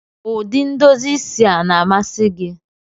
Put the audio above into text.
Ụdị ndozi isi a na-amasị gị?